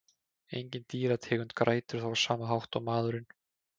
Engin dýrategund grætur þó á sama hátt og maðurinn.